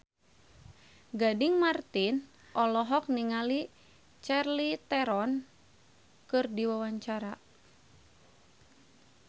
Gading Marten olohok ningali Charlize Theron keur diwawancara